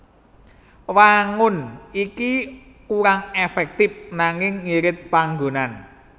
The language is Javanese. Wangun iki kurang èfèktif nanging ngirit panggonan